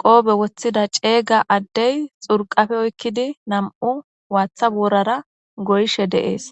qoobe woththida ceeyga addey xurqafe oykkidi nam'u waatha boorara goyshe de'ees